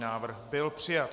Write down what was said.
Návrh byl přijat.